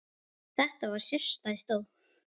Þetta var sérstæð sjón.